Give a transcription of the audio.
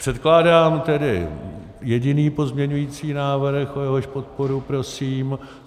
Předkládám tedy jediný pozměňovací návrh, o jehož podporu prosím.